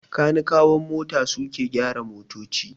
Kanikawan mota suke ke gyara motoci.